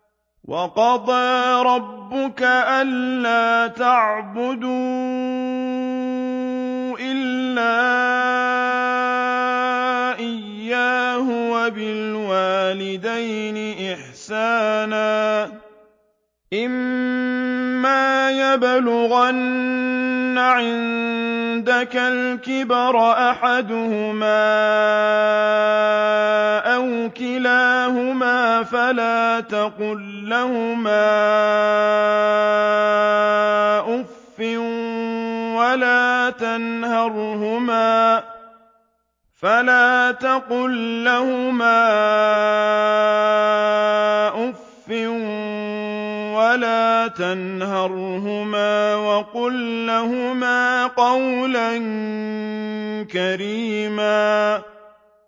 ۞ وَقَضَىٰ رَبُّكَ أَلَّا تَعْبُدُوا إِلَّا إِيَّاهُ وَبِالْوَالِدَيْنِ إِحْسَانًا ۚ إِمَّا يَبْلُغَنَّ عِندَكَ الْكِبَرَ أَحَدُهُمَا أَوْ كِلَاهُمَا فَلَا تَقُل لَّهُمَا أُفٍّ وَلَا تَنْهَرْهُمَا وَقُل لَّهُمَا قَوْلًا كَرِيمًا